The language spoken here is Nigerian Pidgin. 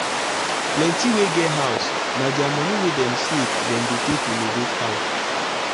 plenty wey get house na their money wey dem savedem dey take renovate house.